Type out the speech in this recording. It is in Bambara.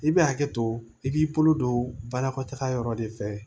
I bɛ hakɛ to i b'i bolo don banakɔtaga yɔrɔ de fɛ